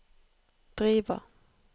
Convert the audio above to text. Driva